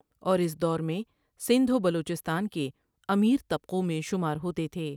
اور اس دور میں سندھ و بلوچستان کے امیر طبقوں میں شمار ہوتے تھے ۔